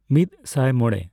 ᱢᱤᱫ ᱥᱟᱭ ᱢᱚᱲᱬᱮ